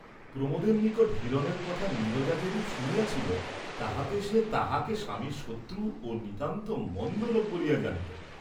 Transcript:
প্রমোদের নিকট হিরণের কথা নীরজা যেরূপ শুনিয়াছিল, তাহাতে সে তাহাকে স্বামীর শত্রু ও নিতান্ত মন্দ লোক বলিয়াই জানিত।